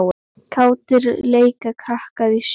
Kátir leika krakkar í snjó.